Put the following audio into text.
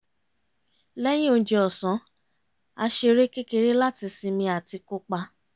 lẹ́yìn oúnjẹ ọ̀sán a ṣeré kékeré láti sinmi àti kópa